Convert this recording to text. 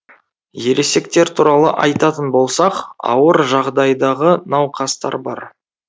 ересектер туралы айтатын болсақ ауыр жағдайдағы науқастар бар